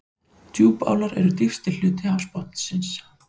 Djúpálar eru dýpsti hluti hafsbotnsins.